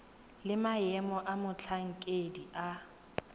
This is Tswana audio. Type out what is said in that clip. le maemo a motlhankedi wa